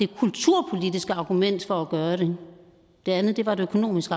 det kulturpolitiske argument for at gøre det det andet var et økonomisk